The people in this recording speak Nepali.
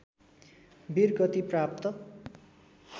वीरगति प्राप्त